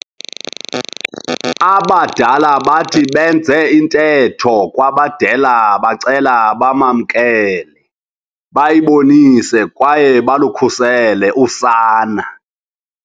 Abadala bathi benze intetho kwabadela bacela bamamkele, bayibonise kwaye balu khusele usana.